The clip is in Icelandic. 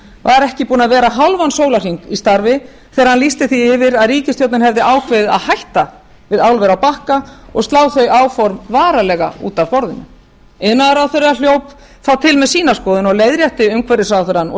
var ekki búinn að vera hálfan sólarhring í starfi þegar hann lýsti því yfir að ríkisstjórnin hefði ákveðið að hætta við álver á bakka og slá þau áform varanlega út af borðinu iðnaðarráðherra hljóp þá til með sína skoðun og leiðrétti umhverfisráðherrann og